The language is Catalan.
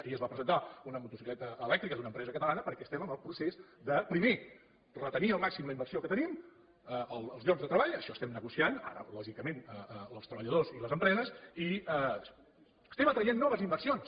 ahir es va presentar una motocicleta elèctrica d’una empresa catalana perquè estem en el procés de primer retenir al màxim la inversió que tenim els llocs de treball això ho estem negociant ara lògicament els treballadors i les empreses i estem atraient noves inversions